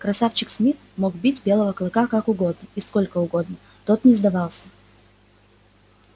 красавчик смит мог бить белого клыка как угодно и сколько угодно тот не сдавался